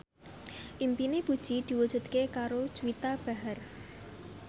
impine Puji diwujudke karo Juwita Bahar